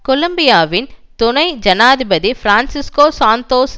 கொலம்பியாவின் துணை ஜனாதிபதி Francisco Santos